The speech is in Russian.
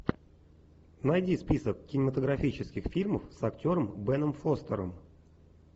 найди список кинематографических фильмов с актером беном фостером